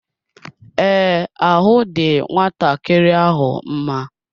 Ee, ahụ dị nwatakịrị ahụ mma.